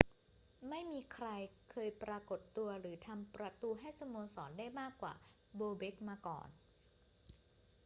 ไม่มีใครเคยปรากฏตัวหรือทำประตูให้สโมสรได้มากกว่าโบเบ็กมาก่อน